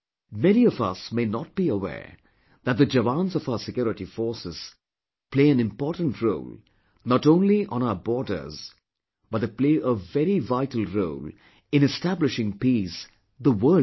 Many of us may not be aware that the jawans of our security forces play an important role not only on our borders but they play a very vital role in establishing peace the world over